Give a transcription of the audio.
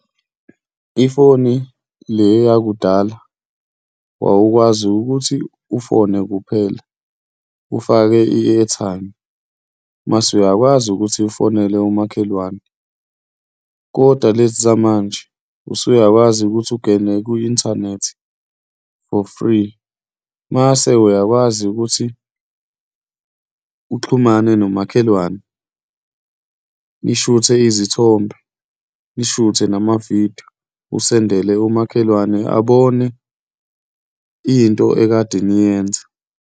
Ifoni le yakudala wawukwazi ukuthi ufone kuphela, ufake i-airtime mase uyakwazi ukuthi ufonele umakhelwane, kodwa lezizamanje usuyakwazi ukuthi ungene kwi-inthanethi for free. Mase uyakwazi ukuthi uxhumane nomakhelwane, nishuthe izithombe, nishuthe namavidiyo, usendele umakhelwane, abone into ekade niyenza.